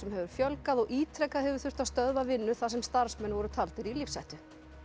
hefur fjölgað og ítrekað hefur þurft að stöðva vinnu þar sem starfsmenn voru taldir í lífshættu